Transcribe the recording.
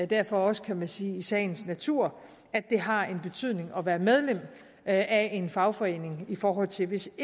derfor også kan man sige i sagens natur at det har en betydning at være medlem af en fagforening i forhold til hvis